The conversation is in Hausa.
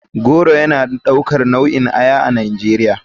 Tiger goro yana daukar nau'in aya a nigeria.